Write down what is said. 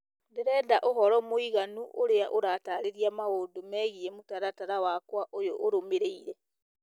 ndĩrenda ũhoro mũiganu ũrĩa ũratarĩria maũndũ megiĩ mũtaratara wakwa ũyũ ũrũmĩrĩire